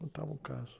Contava um caso.